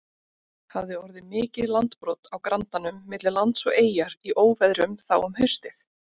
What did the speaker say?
Hafði orðið mikið landbrot á grandanum milli lands og eyjar í óveðrum þá um haustið.